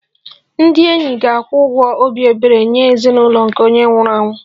Ndị enyi ga-akwụ ụgwọ obi ebere nye ezinụlọ nke onye nwụrụ anwụ